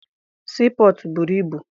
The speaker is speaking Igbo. Sii pọtụ buru ibu.